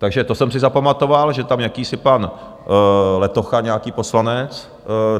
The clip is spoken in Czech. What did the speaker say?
Takže to jsem si zapamatoval, že je tam jakýsi pan Letocha, nějaký poslanec.